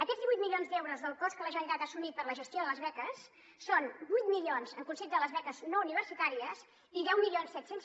aquests divuit milions d’euros del cost que la generalitat ha assumit per a la gestió de les beques són vuit milions en concepte de les beques no universitàries i deu mil set cents